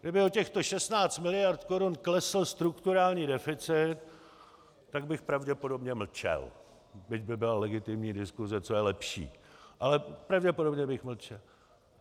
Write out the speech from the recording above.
Kdyby o těchto 16 miliard korun klesl strukturální deficit, tak bych pravděpodobně mlčel, byť by byla legitimní diskuse, co je lepší, ale pravděpodobně bych mlčel.